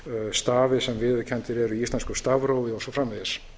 stafi sem viðurkenndir eru í íslensku stafrófi og svo framvegis